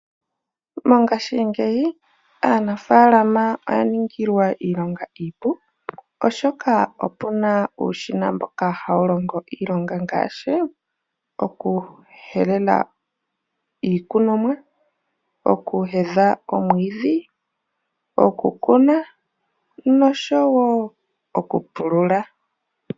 Mongashingeyi aanafaalama oya ningilwa iilonga iipu, oshoka opu na uushina mboka hawu longo iilonga ngaashi: okuhelela iikunomwa, okuheya omwiidhi, okukuna noshowo okupulula.